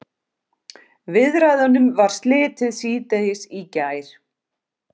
Viðræðunum var slitið síðdegis í gær